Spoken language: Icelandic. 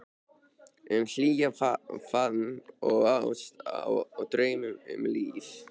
Um hlýjan faðm og ást og draum, um líf